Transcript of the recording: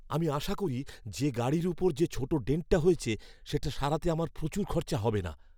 আমি আশা করি যে গাড়ির ওপর যে ছোট ডেন্টটা হয়েছে সেটা সারাতে আমার প্রচুর খরচা হবে না।